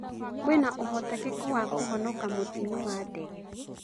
Kwĩna ũhotekeku wa kũhonoka mũtino wa ndege?